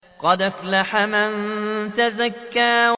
قَدْ أَفْلَحَ مَن تَزَكَّىٰ